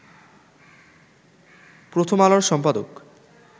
‘প্রথম আলো’র সম্পাদক